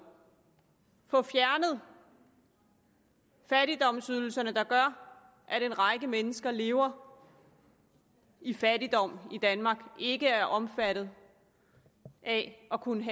få fjernet fattigdomsydelserne der gør at en række mennesker lever i fattigdom i danmark og ikke er omfattet af at kunne